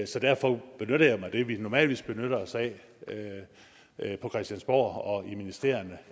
så derfor benytter jeg mig af det vi normalvis benytter os af på christiansborg og i ministerierne